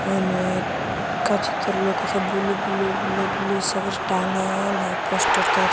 ओने का चीज त लऊकत ह ब्लू ब्लू ब्लू ब्लू सब टांगल ह पोस्टर तर--